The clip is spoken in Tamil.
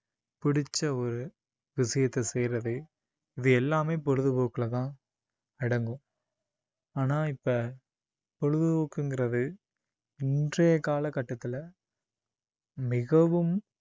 புடிச்ச ஒரு விஷயத்த செய்யிறது இது எல்லாமே பொழுதுபோக்குலதான் அடங்கும் ஆனால் இப்ப பொழுதுபோக்குங்கிறது இன்றைய கால கட்டத்துல மிகவும்